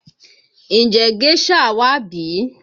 Ǹjẹ́ géșà wà bí?